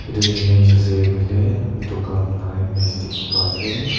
etu image ase koile dukan la image dikhi pai ase.